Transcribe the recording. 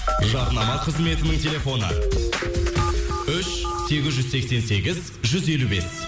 жарнама қызметінің телефоны үш сегіз жүз сексен сегіз жүз елу бес